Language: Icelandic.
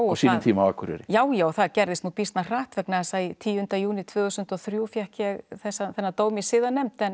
sínum tíma á Akureyri já já það gerðist nú býsna hratt vegna þess að tíunda júní tvö þúsund og þrjú fékk ég þennan dóm í siðanefnd